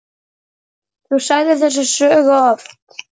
Þú sagðir þessa sögu oft.